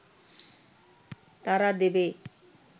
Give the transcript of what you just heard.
তারা দেবে